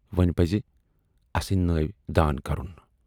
وۅنۍ پزِ اَسٕندۍ نٲوۍ دان کرُن۔